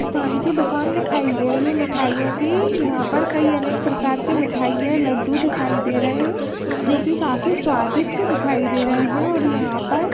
मिष्ठान की दुकान दिखाई दे रही है मिठाइयों की यहां पर कई अनके प्रकार की मिठाई है लड्डू दिखाई दे रहे है जो की काफी स्वादिस्ट दिखाई दे रहे है यहां पर --